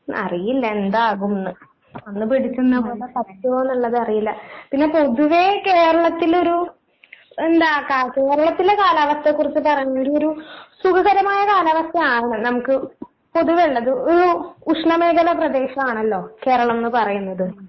അറിയില്ല എന്താകുംന്ന് അന്ന് പിടിച്ച് നിന്നപോലെ പറ്റുവോ എന്നുള്ളത് അറിയില്ല പിന്നെ പൊതുവെ കേരളത്തിലൊരു എന്താ കാ കേരളത്തിലെ കാലാവസ്ഥയെക്കുറിച്ച്‌ പറഞ്ഞൊരു ഒരു സുഖകരമായ കാലാവസ്ഥയാണ് നമുക്ക് പൊതുവെ ഉള്ളത് ഒരു ഉഷ്ണമേഖലാ പ്രദേശമാണലോ കേരളംന്ന് പറയുന്നത്